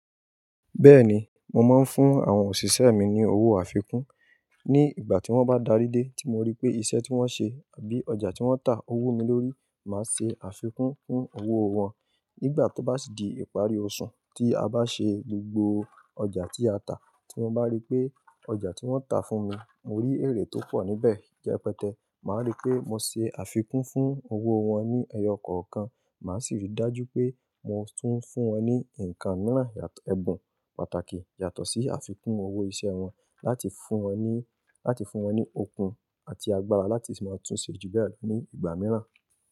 Bẹ́ẹ̀ni, mo máa ń fún àwọn òṣìṣẹ́ mi ní owó àfikún. Ni ìgbà tí wọ́n bá darí dé tí mo rí pé iṣẹ́ tí wọ́n ṣe àbí ọjà tí wọ́n tà owó mi lórí, màá ṣe àfikún fún owó wọn. Nígbà tó bá sì di ìparí oṣù, tí a bá ṣe gbogbo ọjà tí a tà, tí mo bá rí pé ọjà tí wọ́n tà fún mi, mo rí èrè tó pọ̀ níbẹ̀, repẹ́tẹ́, màá rí pé mo ṣe àfikún fún owó wọn ní ẹyọ kọ̀ọ̀kan. Màá sì rí i dájú pé mo tún ń fún wọn ní ǹkan mìíràn, ẹbùn pàtàkì yàtọ̀ sí àfikún owó iṣẹ́ wọn láti fún wọn ní, láti fún wọn ní okun àti agbára láti sì máa tun ṣe ju bẹ́ẹ̀ lọ ní ìgbà mìíràn.